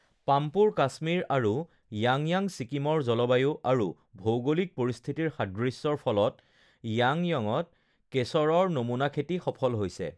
পাম্পোৰ কাশ্মীৰ আৰু য়াংয়াং ছিকিমৰ জলবায়ু আৰু ভৌগোলিক পৰিস্থিতিৰ সাদৃশ্যৰ ফলত য়াংয়ঙত কেশৰৰ নমুনা খেতি সফল হৈছে